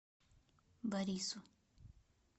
борису